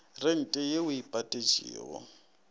rente ye o e patetšego